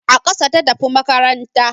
A ƙasa ta tafi makaranta